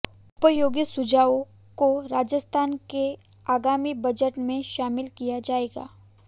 उपयोगी सुझावों को राजस्थान के आगामी बजट में शामिल किया जाएगा